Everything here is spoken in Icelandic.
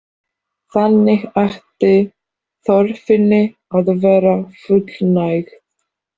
Þannig ætti þörfinni að verða fullnægt.